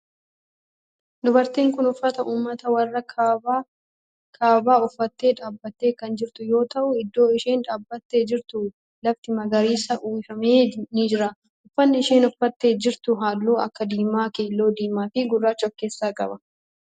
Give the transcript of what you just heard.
Dubartiin tun uffata ummata warra kibbaa uffattee dhaabbattee kan jirtu yoo ta'u iddoo isheen dhaabbattee jirtu lafti marga uwwifame ni jira. Uffanni isheen uffattee jirtu halluu akka diimaa, keelloo, diimaa fi gurraacha of keessaa qaba.